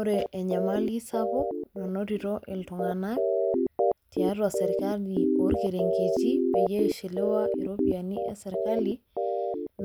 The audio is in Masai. Ore enyamali sapuk nanotito iltung'anak tiatua serkali orkereng'eti peyie ishiliwa iropiani e serkali